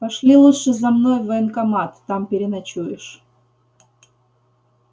пошли лучше за мной в военкомат там переночуешь